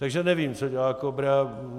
Takže nevím, co dělá KOBRA.